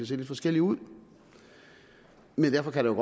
se lidt forskelligt ud men derfor kan der